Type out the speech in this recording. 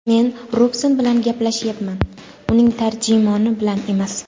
Men Robson bilan gaplashyapman, uning tarjimoni bilan emas!”.